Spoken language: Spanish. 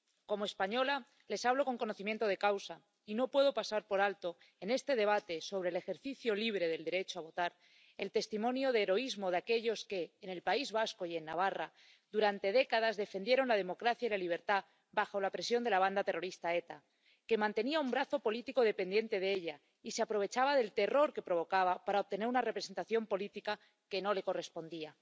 Como española, les hablo con conocimiento de causa y no puedo pasar por alto, en este debate sobre el ejercicio libre del derecho a votar, el testimonio de heroísmo de aquellos que, en el País Vasco y en Navarra, durante décadas, defendieron la democracia y la libertad bajo la presión de la banda terrorista ETA, que mantenía un brazo político dependiente de ella, y se aprovechaba del terror que provocaba para obtener una representación política que no le correspondía.